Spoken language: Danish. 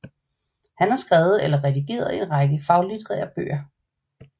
Han har skrevet eller redigeret en række faglitterære bøger